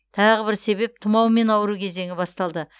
тағы бір себеп тұмаумен ауыру кезеңі басталды